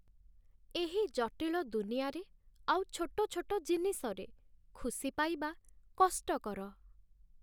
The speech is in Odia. ଏହି ଜଟିଳ ଦୁନିଆରେ ଆଉ ଛୋଟ ଛୋଟ ଜିନିଷରେ ଖୁସି ପାଇବା କଷ୍ଟକର।